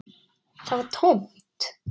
Það var tómt.